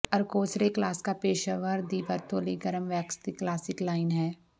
ਅਰਕੋਸਰੇ ਕਲਾਸਕਾ ਪੇਸ਼ੇਵਰ ਦੀ ਵਰਤੋਂ ਲਈ ਗਰਮ ਵੈਕਸ ਦੀ ਕਲਾਸਿਕ ਲਾਈਨ ਹੈ